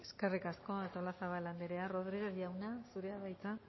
eskerrik asko artolazabal andrea rodriguez jauna zurea da hitza